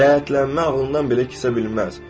Ləyətlənmə ağlından belə keçə bilməz.